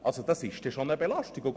Das ist schon eine Belastung.